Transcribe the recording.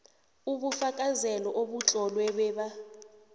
ubufakazelo obutlolwe babe